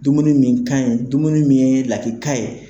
Dumuni min ka ɲin, dumuni min ye lakika ye.